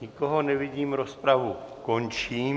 Nikoho nevidím, rozpravu končím.